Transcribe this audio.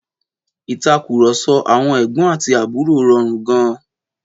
Ìtàkùrọ̀sọ àwọn ẹ̀gbọ́n àti àbúrò rọrùn gan-an.